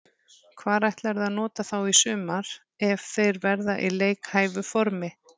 Hvar ætlarðu að nota þá í sumar ef þeir verða í leikhæfu formi?